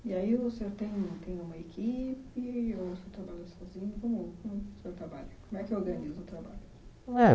E aí, o senhor tem um tem uma equipe, ou o senhor trabalha sozinho? Como como o senhor trabalha Como é que organiza o trabalho É